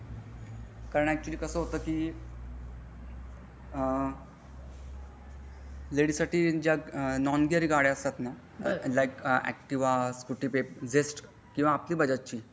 कारण अचूअल्ली कसा होतं की आ लडीएस साठी ज्या नॉन गियर गाड्या असतात ना लाईक ऍक्टिव्ह सकूटी पेपट झेस्ट किंवा अक्खी बजाजची.